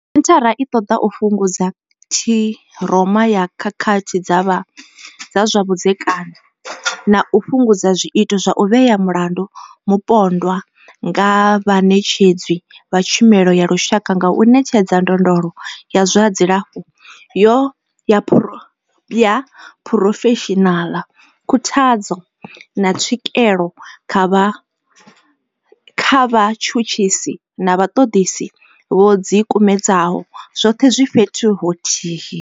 Senthara i ṱoḓa u fhungudza ṱhiroma ya khakhathi dza zwa vhudzekani na u fhungudza zwiito zwa u vhea mulandu mupondwa nga vhaṋetshedzi vha tshumelo ya lushaka nga u ṋetshedza ndondolo ya zwa dzilafho ya phurofeshinala, khuthadzo, na tswikelo kha vhatshutshisi na vhaṱoḓisi vho ḓikumedzaho, zwoṱhe zwi fhethu huthihi.